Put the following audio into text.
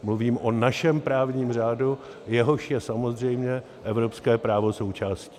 Mluvím o našem právním řádu, jehož je samozřejmě evropské právo součástí.